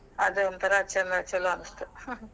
ಆದ್ ಒಂಥರ ಚನ್ನ ಚುಲೊ ಅನಿಸ್ತ್ .